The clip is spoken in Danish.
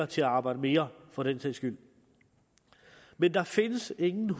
til at arbejde mere for den sags skyld men der findes ingen